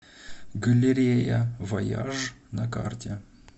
галерея вояж на карте